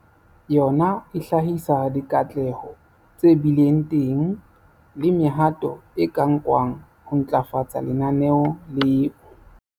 Yona e hlahisa dikatleho tse bileng teng le mehato e ka nkwang ho ntlafatsa lenaneo leo.